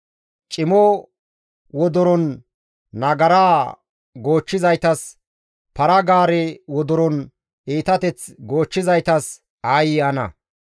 Cimo wodoron nagaraa goochchizaytas, para-gaare wodoron iitateth goochchizaytas aayye ana!